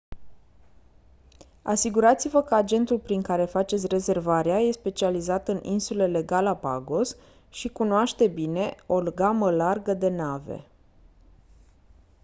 asigurați-vă că agentul prin care faceți rezervarea e specializat în insulele galapagos și cunoaște bine o gamă largă de nave